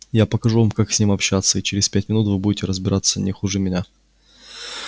я покажу вам как с ним обращаться и через пять минут вы будете разбираться не хуже меня